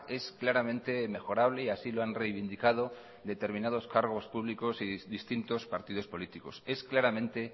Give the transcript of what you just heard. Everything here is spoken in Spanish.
es claramente mejorable y así lo han reivindicado determinados cargos públicos y distintos partidos políticos es claramente